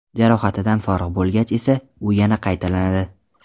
Jarohatidan forig‘ bo‘lgach esa, u yana qaytalanadi.